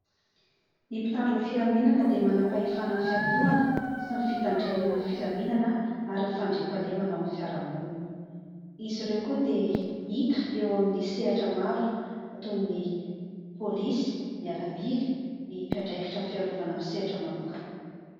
Ny mpitandron' ny filaminana dia manam-pahefana ny fiantohana sy ny fitandremana ny filaminana ary ny fandriham-pahalemana ao amin' ny fiaraha-monina. Izy ireo koa dia hita eo amin' ny sehatra maro toy ny polisy miaramila, ny mpiandraikitra ny fiarovana amin' ny sehatra manokana.